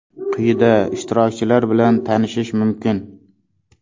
Quyida ishtirokchilar bilan tanishish mumkin.